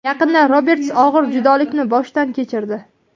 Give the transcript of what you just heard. Yaqinda Roberts og‘ir judolikni boshdan kechirdi.